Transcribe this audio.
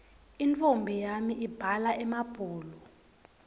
intfombi yami ibhala emabhulu